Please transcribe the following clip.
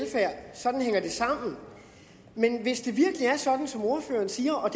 sådan hænger det sammen men hvis det virkelig er sådan som ordføreren siger og